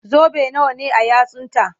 Zobe nawa ne a yatsunta?